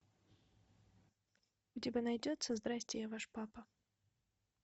у тебя найдется здрасьте я ваш папа